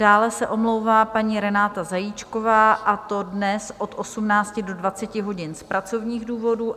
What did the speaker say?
Dále se omlouvá paní Renáta Zajíčková, a to dnes od 18.00 do 20 hodin z pracovních důvodů.